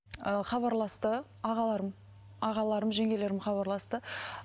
ыыы хабарласты ағаларым ағаларым жеңгелерім хабарласты